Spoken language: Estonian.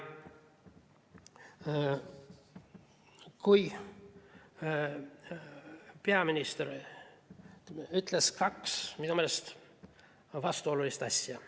Peaminister ütles kaks minu meelest vastuolulist asja.